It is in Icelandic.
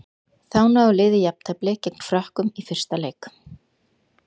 Þá náði liðið jafntefli gegn Frökkum í fyrsta leik.